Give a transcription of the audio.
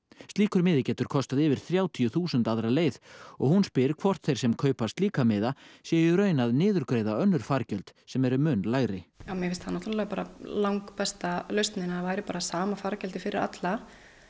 slíkur miði getur kostað yfir þrjátíu þúsund aðra leið og hún spyr hvor þeir sem kaupa slíka miða séu í raun að niðurgreiða önnur fargjöld sem eru mun lægri mér fyndist það langbesta lausnin ef það væri sama fargjaldið fyrir alla